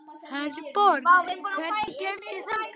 Herborg, hvernig kemst ég þangað?